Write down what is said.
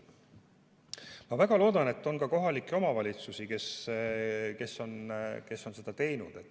Ma väga loodan, et on kohalikke omavalitsusi, kes on seda teinud.